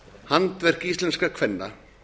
handverk íslenskra kvenna